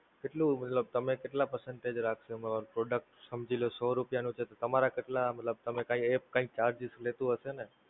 કેટલું મતલબ તમે કેટલાં percentage રાખશો, Product સમજી લ્યો સો રૂપિયા નો છે તો તમારા કેટલા મતલબ તમે કાંઈ App કાંઈક ચાર્જીસ લેતું હશે ને?